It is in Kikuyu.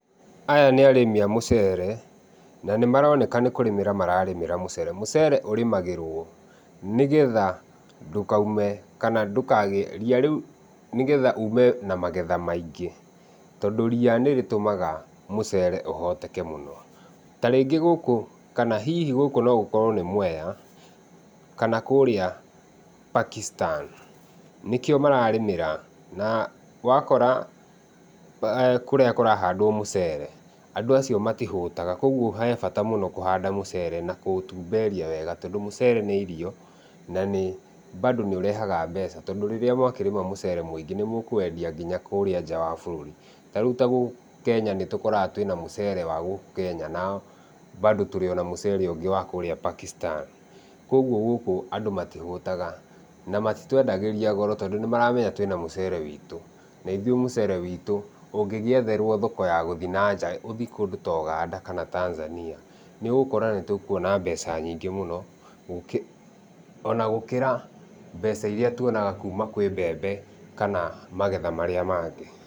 Aya nĩ arĩmi a mũcere na nĩmaroneka nĩkũrĩmĩra mararĩmĩra mũcere. Mũcere ũrĩmagĩrwo nĩgetha ndũkaume kana ndũkagĩe ria rĩu, nĩgetha ume na magetha maingĩ. Tondũ ria nĩrĩtũmaga mũcere ũhoteke mũno. Ta rĩngĩ gũkũ, kana hihi gũkũ no gũkorwo nĩ Mwea kana kũrĩa Pakistan, nĩkĩo mararĩmĩra, na ũgakora kũrĩa kũrahandwo mũcere, andũ acio matihũtaga, kogwo he bata mũno kũhanda mũcere na kũũtumberia wega tondũ mũcere nĩ irio, na nĩ bado nĩũrehaga mbeca, tondũ rĩrĩa mwakĩrĩma mũcere mũingĩ nĩmũkũwendia kinya kũrĩa nja wa bũrũri. Tarĩu ta gũkũ Kenya nĩtũkoraga twĩna mũcere wa gũkũ Kenya na bado tũrĩ ona mũcere ũngĩ wa kũrĩa Pakistan. Kogwo, gũkũ andũ matihũtaga, na matitwendagĩria goro tondũ nĩmaramenya twĩna mũcere witũ. Na ithuĩ mũcere witũ ũngĩgĩetherwo thoko ya gũthiĩ nanja ũthiĩ kũndũ ta Ũganda kana Tanzania, nĩũgũkora nĩtũkuona mbeca nyingĩ mũno, gũkĩra ona gũkĩra mbeca irĩa tuonaga kuma kwĩ mbembe kana magetha marĩa mangĩ.